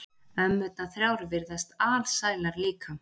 Ömmurnar þrjár virðast alsælar líka.